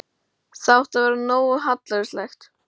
Það átti að vera nógu hallærislegt.